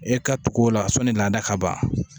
E ka tugu o la sɔni laada ka ban